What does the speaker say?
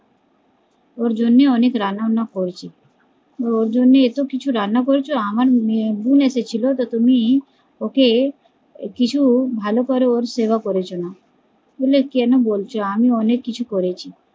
ওর জন্যই অনেক রান্নাবান্না করছি, ওর জন্য এত কিছু রান্না করেছো আমার বোন এসেছিলো তো ওকে তুমি ওকে কিছু ভালো করে সেবা করেছ না, বলে কেন বলছো আমি অনেক কিছু করেছি